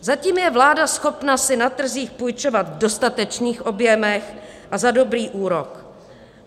Zatím je vláda schopna si na trzích půjčovat v dostatečných objemech a za dobrý úrok.